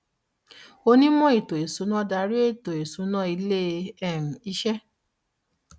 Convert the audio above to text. onímò ètò ìsúná darí ètò ìsúná ilé um iṣẹ́.